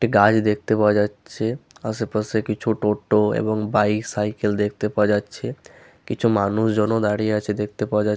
একটি গাছ দেখতে পাওয়া যাচ্ছেআশেপাশে কিছু টোটো এবং বাইক সাইকেল দেখতে পাওয়া যাচ্ছে কিছু মানুষজন ও দাঁড়িয়ে আছে দেখতে পাওয়া যা--।